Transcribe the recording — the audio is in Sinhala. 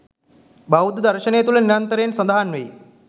බෞද්ධ දර්ශනය තුළ නිරන්තරයෙන් සඳහන් වෙයි.